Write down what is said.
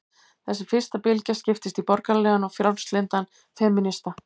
Þessi fyrsta bylgja skiptist í borgaralegan og frjálslyndan femínisma.